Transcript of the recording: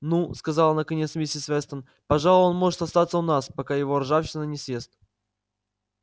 ну сказала наконец миссис вестон пожалуй он может остаться у нас пока его ржавчина не съест